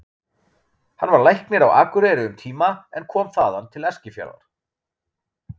Hann var læknir á Akureyri um tíma en kom þaðan til Eskifjarðar.